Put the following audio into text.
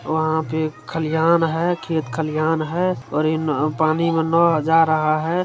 वहाँ पे खलियान है खेत खलियान है और इन पानी मे नाव जा रहा है।